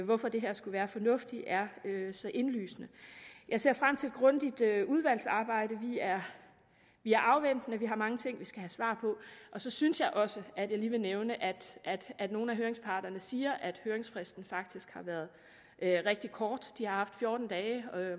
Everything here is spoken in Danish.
hvorfor det her skulle være fornuftigt er så indlysende jeg ser frem til et grundigt udvalgsarbejde vi er afventende og vi har mange ting vi skal have svar på så synes jeg også at jeg lige vil nævne at nogle af høringsparterne siger at høringsfristen faktisk har været rigtig kort de har haft fjorten dage